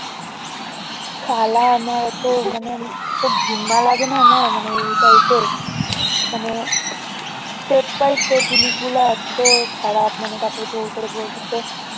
শালা আমার এত মানে ঘিন্না লাগেনা আমার এই type এর মানে step by step জিনিসগুলো এত খারাপ মানে তারপর জোড় করে বলতেছে